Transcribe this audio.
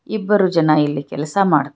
ಇಬ್ಬರು ಜನ ಇಲ್ಲಿ ಕೆಲಸ ಮಾಡ್ತಾ--